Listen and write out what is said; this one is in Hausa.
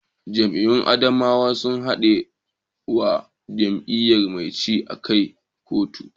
Jam'iyyun adawa sun haɗe wa jam'iyyar mai ci kai a kotu